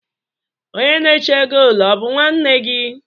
Onye na-eche goolu ọ̀ bụ nwanne gị?